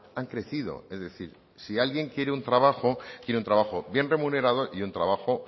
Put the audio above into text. han crecido es decir si alguien quiere un trabajo quiere un trabajo bien remunerado y un trabajo